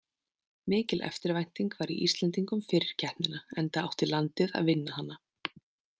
Mikil eftirvænting var í Íslendingum fyrir keppnina enda átti landið að vinna hana.